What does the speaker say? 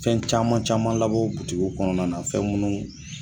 Fɛn caman caman labɔ butigiw kɔnɔna na fɛn minnu